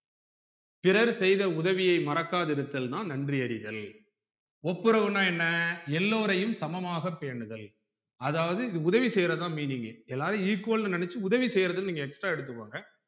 பிறர் செய்த உதவியை மறக்காதிருத்தல் நா நன்றி அறிதல் ஒப்புரவுனா என்ன எல்லோரையும் சமமாக பேணுதல் அதாவது உதவி செய்யுறதுதான் meaning எல்லாரும் equal னு நெனச்சு உதவி செய்யுறது நீங்க extra எடுத்துக்கோங்க